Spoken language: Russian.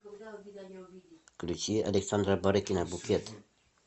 включи александра барыкина букет